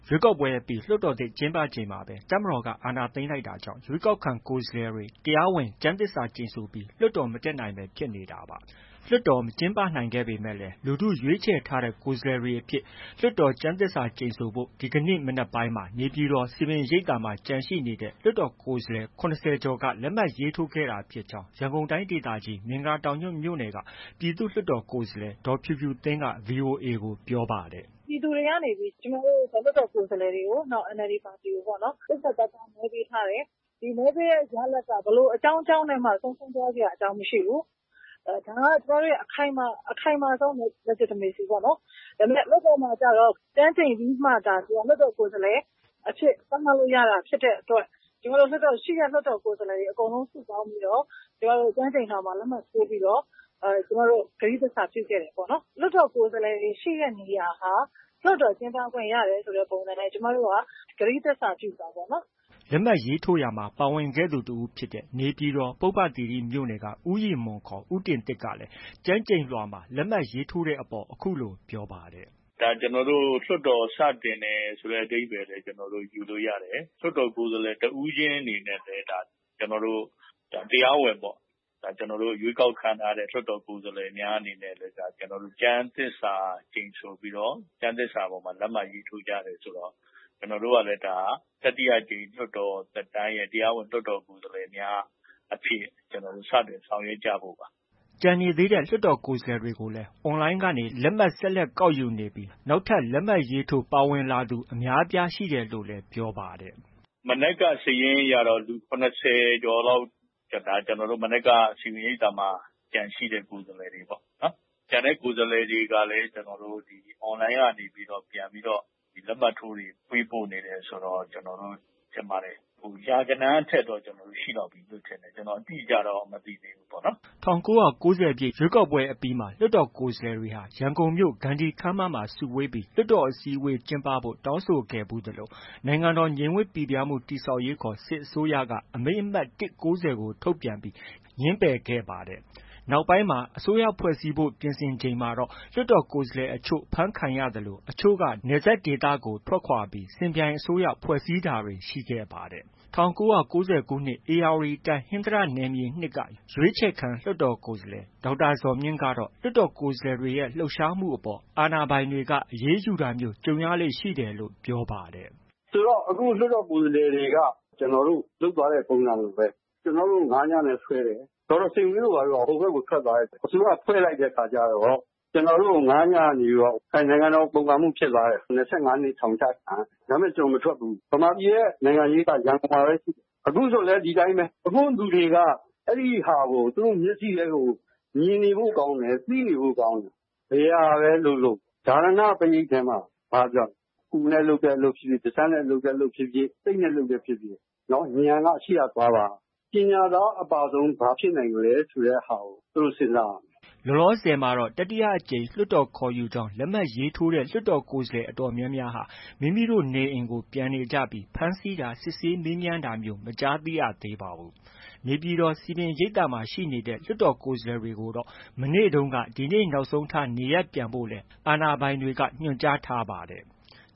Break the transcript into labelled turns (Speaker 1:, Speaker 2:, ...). Speaker 1: ရွေးကောက်ပွဲအပြီး လွှတ်တော်သစ် ကျင်းပမယ့် အချိန်မှာပဲ တပ်မတော်က အာဏာသိမ်းလိုက်တာကြောင့် ရွေးကောက်ခံ ကိုယ်စားလှယ်တွေ တရားဝင်ကျမ်းသစ္စာကျိန်ဆိုပြီး လွှတ်တော်မတက်နိုင်ဘဲ ဖြစ်ခဲ့ကြတာပါ။ လွှတ်တော်မကျင်းပနိုင်ခဲ့ပေမဲ့လည်း လူထုကရွေးချယ်ထားတဲ့ ကိုယ်စားလှယ်တွေအဖြစ် တရားဝင် ကျမ်းသစ္စာကျိန်ဆိုဖို့ ဒီကနေ့ မနက်ပိုင်းမှာပဲ နေပြည်တော်၊ စည်ပင်ရိပ်သာမှာ ကျန်ရှိနေသူ ကိုယ်စားလှယ် ၇၀ ကျော်က လက်မှတ်ရေးထိုးခဲ့တာဖြစ်ကြောင်း ရန်ကုန်းတိုင်းဒေသကြီး မင်္ဂလာတောင်ညွှန်မြို့နယ်က ပြည်သူ့လွှတ်တော်ကိုယ်စားလှယ် ဒေါ်ဖြူဖြူသင်းက VOA ကို ပြောပါတယ်။
Speaker 2: "ပြည်သူတွေကနေပြီး ကျမတို့ လွှတ်တော်ကိုယ်စားလှယ်တွေကို နောက် NLD ပါတီကို ပြတ်ပြတ်သားသား မဲပေးထားတယ်။ ဒီမဲပေးတဲ့ ရလဒ်က ဘယ်လို အကြောင်းကြောင်းနဲ့မှ ဆုံးရှုံးသွားစရာအကြောင်း မရှိဘူး။ ဒါက ကျမတို့ရဲ့ အခိုင်မာဆုံး Legitimacy ပေါ့နော်။ ဒါပေမဲ့ လွှတ်တော်မှာကျတော့ ကျမ်းကျိန်ပြီးမှသာ လွှတ်တော်ကိုယ်စားလှယ်အဖြစ် သတ်မှတ်လို့ ရတာဖြစ်တဲ့အတွက် ကျမတို့ ရှိတဲ့ လွှတ်တော်ကိုယ်စားလှယ်တွေ အကုန်လုံး စုပေါင်းပြီးတော့ ကျမ်းကျိန်လွှာမှာ လက်မှတ် ထိုးပြီးတော့ ကျမတို့ ကတိသစ္စာပြုခဲ့တယ်ပေါ့နော်။ လွှတ်တော်ကိုယ်စားလှယ်တွေ ရှိတဲ့နေရာဟာ လွှတ်တော်ကျင်းပခွင့်ရတယ်ဆိုတဲ့ပုံစံနဲ့ ကျမတို့က ကတိသစ္စာပြုတာပေါ့နော်။
Speaker 1: ” လက်မှတ်ရေးထိုးရာမှာ ပါဝင်ခဲ့သူတစ်ဦးဖြစ်တဲ့ နေပြည်တော်၊ ပုဗ္ဗသီရိမြို့နယ်က ဦးရည်မွန်ခေါ် ဦးတင်သစ်ကလည်း ကျမ်းကျိန်လွှာမှာ လက်မှတ်ရေးထိုးတဲ့အပေါ် အခုလို ပြောပါတယ်။
Speaker 3: “ဒါ ကျနော်တို့ လွှတ်တော်စတင်တယ်ဆိုတဲ့ အဓိပ္ပါယ်လည်း ယူလို့ ရတယ်။ လွှတ်တော်ကိုယ်စားလှယ် တစ်ဦးချင်းအနေနဲ့လည်း ဒါ တရားဝင်ပေါ့။ ကျနော်တို့ ရွေးကောက်ခံထားရတဲ့ ကိုယ်စားလှယ်များအနေနဲ့လည်း ကျမ်းသစ္စာကျိန်ဆိုပြီးတော့ ကျမ်းသစ္စာမှာ လက်မှတ် ရေးထိုးကြတယ်ဆိုတော့ ကျနော်တို့က ဒါ တတိယအကြိမ် လွှတ်တော်သက်တမ်းရဲ့ တရားဝင် လွှတ်တော်ကိုယ်စားလှယ်များအဖြစ် စတင်ဆောင်ရွက်ကြဖို့ပါပဲ
Speaker 1: ။” ကျန်နေသေးတဲ့ လွှတ်တော်ကိုယ်စားလှယ်တွေကိုလည်း online ကနေ လက်မှတ် ဆက်လက်ကောက်ယူနေပြီး နောက်ထပ် လက်မှတ်ရေးထိုး ပါဝင်လာသူ အများအပြား ရှိနေတယ်လို့လည်းပြောပါတယ်။
Speaker 3: “မနက်က စာရင်းအရတော့ လူ ၇၀ ကျော်လောက်၊ ဒါကျနော်တို့ စည်ပင်ရိပ်သာမှာ ကျန်ရှိတဲ့ ကိုယ်စားလှယ်တွေပေါ့။ ကျန်တဲ့ ကိုယ်စားလှယ်တွေကလည်း အွန်လိုင်းကနေ ပြန်ပြီးတော့ လက်မှတ်ထိုးတွေ ပေးပို့နေတယ်ဆိုတော့ ကျနော်တို့ ထင်ပါတယ်။ ရာဂဏန်းအထက်တော့ ကျနော်တို့ ရှိလောက်ပြီထင်ပါတယ်။ အတိအကျတော့ မသိသေးဘူးပေါ့နော်။” ၁
Speaker 1: ၉၉၀ ပြည့်ရွေးကောက်ပွဲအပြီးမှာ လွှတ်တော်ကိုယ်စားလှယ်တွေဟာ ရန်ကုန်မြို့ ဂန္ဒီခန်းမမှာ စုဝေးပြီး လွှတ်တော်အစည်းအဝေးကျင်းပဖို့ တောင်းဆိုခဲ့ဖူးသလို နိုင်ငံတော် ငြိမ်ဝပ်ပိပြားမှုတည်ဆောက်ရေး ခေါ် စစ်အစိုးရက အမိန့်အမှတ် ၁/၉၀ ထုတ်ပြန်ပြီး ငြင်းပယ်ခဲ့ပါတယ်။ နောက်ပိုင်းမှာ အစိုးရဖွဲ့စည်းဖို့ ပြင်ဆင်ချိန်မှာတော့ လွှတ်တော်ကိုယ်စားလှယ်အချို့ ဖမ်းဆီးခံရသလို အချို့က နယ်စပ်ဒေသကို ထွက်ခွာပြီး စင်ပြိုင်အစိုးရဖွဲ့စည်းတာတွေ ရှိခဲ့ပါတယ်။ ၁၉၉၀ ခုနှစ် ဧရာဝတီတိုင်း၊ ဟင်္သာတနယ်မြေ ၂ က ရွေးခြယ်ခံ လွှတ်တော်ကိုယ်စားလှယ် ဒေါက်တာဇော်မြင့်ကတော့ လွှတ်တော် ကိုယ်စားလှယ်တွေရဲ့ လှုပ်ရှားမှုအပေါ် အာဏာပိုင်တွေက အရေးယူတာမျိုး ကြုံရလေ့ရှိတယ်လို့ ပြောပါတယ်
Speaker 4: ။ “ဆိုတော့ အခု လွှတ်တော်ကိုယ်စားလှယ်တွေက ကျနော်တို့ လုပ်သွားတဲ့ ပုံစံလိုပဲ။ ကျနော်တို့ ၅ နဲ့ ဆွဲတယ်။ ဒေါက်တာစိန်ဝင်းတို့ ဘာတို့က ဟိုဘက်ကို ထွက်သွားတယ် အစိုးရဖွဲ့လိုက်တဲ့အခါကျတော့ ကျနော်တို့ ၅ ကနေပြီးတော့ နိုင်ငံတော်ပုန်ကန်မှုဖြစ်သွားတယ်။ ၂၅ နှစ် ထောင်ချခံရတယ်။ ဒါပေမဲ့ ကျနော်မထွက်ဘူး။ ဗမာပြည်ရဲ့နိုင်ငံရေးက ရန်ကုန်မှာပဲ ရှိတယ်။ အခုချိန်လည်း ဒီတိုင်းပဲ။ အခုလူတွေက အဲဒီဟာကို သူတို့မျက်စိထဲကို မြင်နေဖို့ ကောင်းတယ်။ သိနေဖို့ ကောင်းတယ်။ ဘယ်ဟာပဲ လုပ်လုပ် ဓာရဏပရိတ်ထဲမှာ ဘာပြောလဲ၊ ကိုယ်နဲ့ လုပ်တဲ့အလုပ်ဖြစ်ဖြစ်၊ ပါးစပ်နဲ့ လုပ်တဲ့အလုပ်ဖြစ်ဖြစ်၊ စိတ်နဲ့ လုပ်တဲ့အလုပ်ဖြစ်ဖြစ် ဉာဏ်က ရှေ့က သွားပါ။ ပညာသားအပါဆုံး ဘာဖြစ်နိုင်မလဲဆိုတာကို သူတို့ စဉ်းစားရမယ်
Speaker 1: ။” လောလောဆယ် အချိန်ထိတော့ တတိယအကြိမ်လွှတ်တော်ခေါ်ယူကြောင်း လက်မှတ်ရေးထိုးတဲ့ ကိုယ်စားလှယ်အတော်များများဟာ မိမိတို့ နေအိမ်ကို ပြန်နေကြပြီး ဖမ်းဆီးတာ၊ စစ်ဆေးမေးမြန်းတာမျိုး မကြားသိရသေးပါဘူး။ နေပြည်တော် စည်ပင်ရိပ်သာမှာ ရှိနေကြတဲ့ လွှတ်တော်ကိုယ်စားလှယ်တွေကိုတော့ မနေ့တုန်းက နောက်ဆုံးထား နေရပ်ပြန်ဖို့လည်း အာဏာပိုင်တွေက ညွှန်ကြားထားပါတယ်။